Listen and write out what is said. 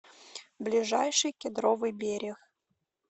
ближайший кедровый берег